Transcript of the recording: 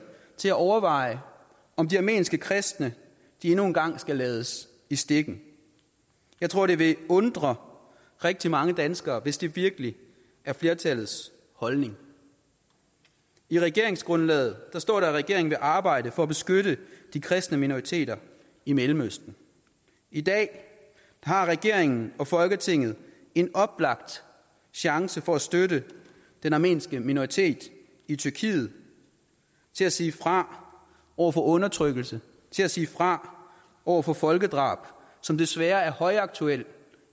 til at overveje om de armenske kristne endnu en gang skal lades i stikken jeg tror det vil undre rigtig mange danskere hvis det virkelig er flertallets holdning i regeringsgrundlaget står der at regeringen vil arbejde for at beskytte de kristne minoriteter i mellemøsten i dag har regeringen og folketinget en oplagt chance for at støtte den armenske minoritet i tyrkiet til at sige fra over for undertrykkelse til at sige fra over for folkedrab som desværre er højaktuelt